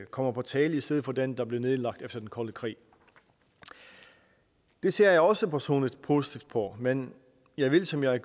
kommer på tale i stedet for den der blev nedlagt efter den kolde krig det ser jeg også personligt positivt på men jeg vil som jeg